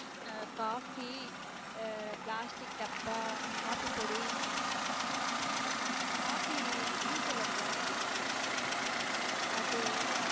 அஹ் coffe ஆஹ் plastic டப்பா coffee பொடி coffee tea தூள் அக்கா அது